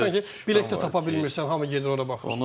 Baxırsan ki, bilet də tapa bilmirsən, hamı gedir ora baxır.